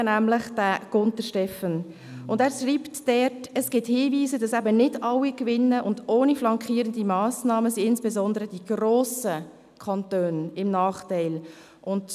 Stephan Gunter schreibt dort, es gebe Hinweise darauf, dass nicht alle gewinnen und ohne flankierende Massnahmen insbesondere die grossen Kantone im Nachteil sind.